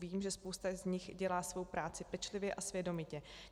Vím, že spousta z nich dělá svou práci pečlivě a svědomitě.